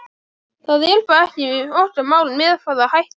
Það er bara ekki okkar mál með hvaða hætti